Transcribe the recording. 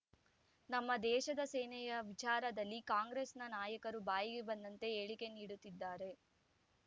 ನಮ್ಮ ದೇಶದ ಸೇನೆಯ ವಿಚಾರದಲ್ಲಿ ಕಾಂಗ್ರೆಸ್ ನಾಯಕರು ಬಾಯಿಗೆ ಬಂದಂತೆ ಹೇಳಿಕೆ ನೀಡುತ್ತಿದ್ದಾರೆ